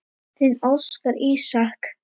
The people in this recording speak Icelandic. Þinn Óskar Ísak.